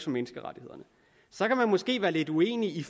menneskerettighederne så kan man måske være lidt uenig i